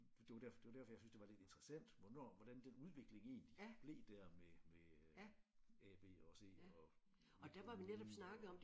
Det var der det var derfor jeg syntes det var lidt interessant hvornår hvordan den udvikling egentlig blev der med med øh A B og C og Midt På Ugen og